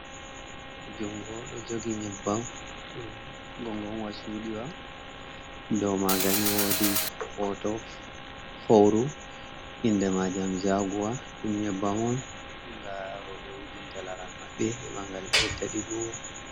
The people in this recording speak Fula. Jngo ɗo jogi nyebbam gongonwa cuuɗiwa ɗum maagani. Woodi hoto fauru, inde maa jam jaguwa. Ɗum nyebbam on nga rowɓe wujinta laral maɓɓe, heɓa ngal ɓedda ɗiggugo.